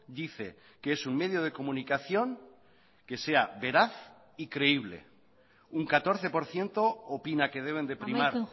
dice que es un medio de comunicación que sea veraz y creíble un catorce por ciento opina que deben de primar